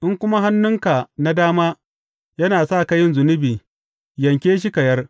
In kuma hannunka na dama yana sa ka yin zunubi, yanke shi ka yar.